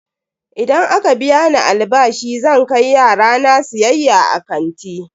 Idan aka biya ni albashi zan kai yara na siyayya a kanti.